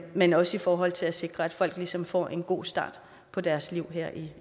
men også i forhold til at sikre at folk ligesom får en god start på deres liv her i